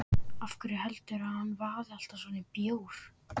Af hverju heldurðu að hann vaði alltaf svona í bjór?